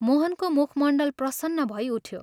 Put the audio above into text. मोहनको मुखमण्डल प्रसन्न भै उठ्यो।